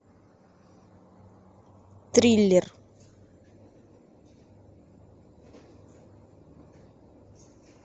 триллер